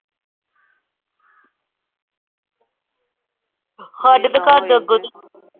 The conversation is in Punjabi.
ਹਾਡੇ ਤੇ ਘਰ ਦੇ ਅੱਗੋਂ ਦੀ,